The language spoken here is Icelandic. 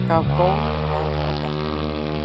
Hann gaf góð ráð á bekknum.